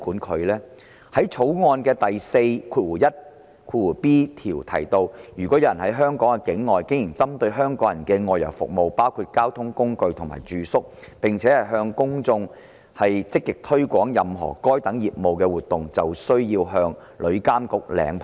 《條例草案》第 41b 條提到，如果有人在香港境外經營針對香港人的外遊服務，包括提供交通工具及住宿，並且"向香港的公眾積極推廣任何該等業務活動"，便需要向旅監局領牌。